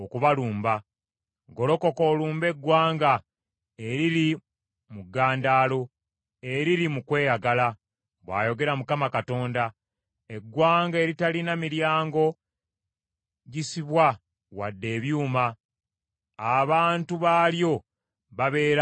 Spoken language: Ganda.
“Golokoka olumbe eggwanga eriri mu ggandaalo, eriri mu kweyagala,” bw’ayogera Mukama Katonda, “eggwanga eritalina miryango gisibwa wadde ebyuma; abantu baalyo babeera awo bokka.